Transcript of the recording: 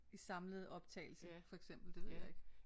I samlet optagelse for eksempel det ved jeg ikke